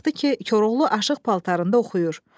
Baxdı ki, Koroğlu aşıq paltarında oxuyur.